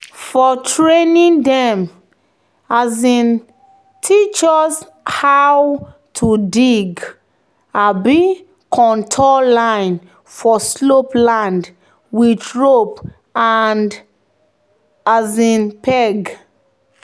"for training dem um teach us how to dig um contour line for slope land with rope and um peg."